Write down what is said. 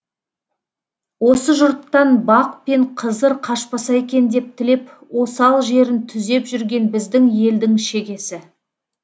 осы жұрттан бақ пен қызыр қашпаса екен деп тілеп осал жерін түзеп жүрген біздің елдің шегесі